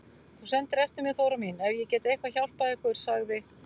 Þú sendir eftir mér Þóra mín ef ég get eitthvað hjálpað ykkur, sagði